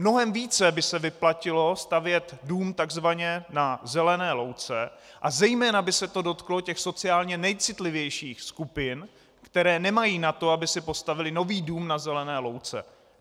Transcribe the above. Mnohem více by se vyplatilo stavět dům takzvaně na zelené louce a zejména by se to dotklo těch sociálně nejcitlivějších skupin, které nemají na to, aby si postavily nový dům na zelené louce.